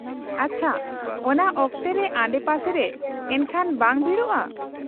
-ᱟᱪᱪᱷᱟ, ᱚᱱᱟ ᱚᱠᱛᱮ ᱨᱮ ᱟᱰᱮᱯᱟᱥᱮ ᱨᱮ ᱮᱱᱠᱷᱟᱱ ᱵᱟᱝ ᱵᱷᱤᱲᱚᱜᱼᱟ ?